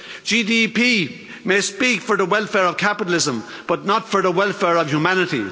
GDP may speak for the welfare of capitalism but not for the welfare of humanity.